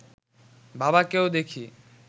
বাবাকেও দেখি